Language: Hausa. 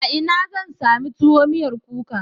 A ina zan sami tuwo miyar kuka?